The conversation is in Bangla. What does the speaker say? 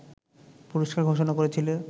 পুরস্কার ঘোষণা করেছিল